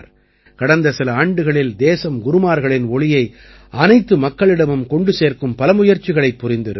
கடந்த சில ஆண்டுகளில் தேசம் குருமார்களின் ஒளியை அனைத்து மக்களிடமும் கொண்டு சேர்க்கும் பல முயற்சிகளைப் புரிந்திருக்கிறது